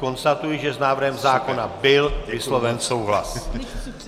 Konstatuji, že s návrhem zákona byl vysloven souhlas.